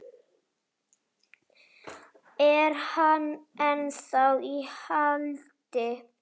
Er hann ennþá í haldi?